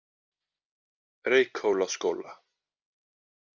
Reykhólaskóla